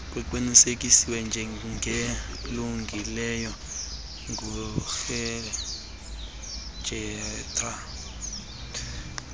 kuqinisekiswa njengelungileyo ngurejistra